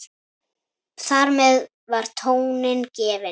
Þar með var tónninn gefinn.